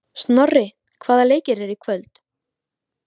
Snorri, hvaða leikir eru í kvöld?